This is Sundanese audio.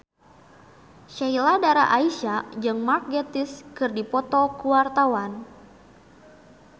Sheila Dara Aisha jeung Mark Gatiss keur dipoto ku wartawan